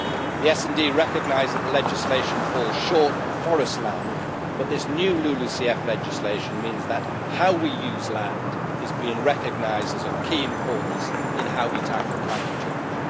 The SD recognises that the legislation falls short on forest land, but this new LULUCF legislation means that how we use land is being recognised as of key importance in how we tackle climate change.